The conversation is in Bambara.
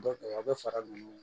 Dɔ a bɛ fara ninnu